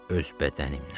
Öz bədənimdən.